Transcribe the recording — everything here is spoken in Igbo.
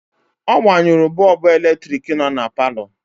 Ọ gbanyụrụ bọọbụ eletrik nọ na palọ.